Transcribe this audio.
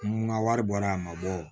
N ka wari bɔra a ma bɔ